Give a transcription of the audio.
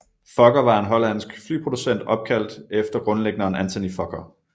Fokker var en hollandsk flyproducent opkaldt efter grundlæggeren Anthony Fokker